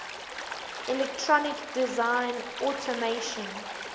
electronic design automation